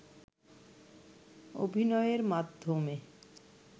অভিনয়ের মাধ্যমে